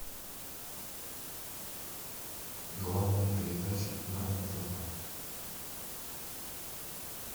главная передача на нтв